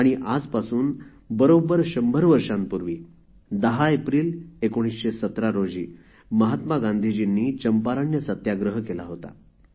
तर आजपासून बरोबर शंभर वर्षांपूर्वी १० एप्रिल १९१७ महात्मा गांधीजींनी चंपारण्य सत्याग्रह केला होता